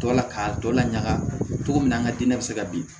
Dɔ la k'a dɔ lakali min an ka dinɛ bɛ se ka bin